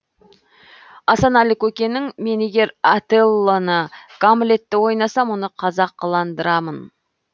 асанәлі көкеңнің мен егер отеллоны гамлетті ойнасам оны қазақыландырамын